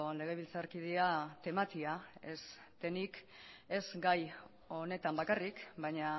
legebiltzarkidea tematia ez denik ez gai honetan bakarrik baina